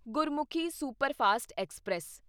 Gurmukhi superfast express